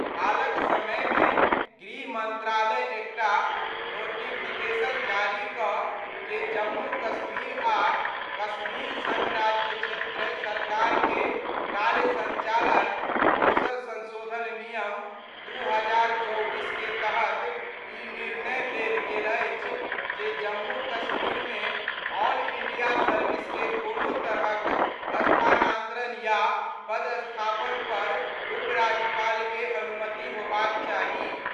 हालक समय मे गृह मंत्रालय एकटा नोटिफि केशन जारी कर के जम्मू आ कश्मीर संघ राज्य क्षेत्र सरकार के कार्य संचालन (दोसर संशोधन) नियम 2024 के तहत ई निर्णय लेल गेल अछि जे जम्मू कश्मीर मे ऑल इंडिया सर्विस के कोनो तरहक स्थानांतरण या पदस्थापन पर उपराज्यपाल के अनुमति होबाक चाही।